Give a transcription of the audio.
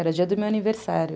Era dia do meu aniversário.